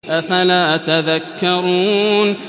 أَفَلَا تَذَكَّرُونَ